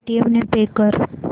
Paytm ने pay कर